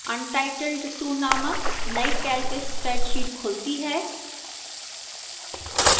untitled 2 named नई calc spreadsheet खुलती है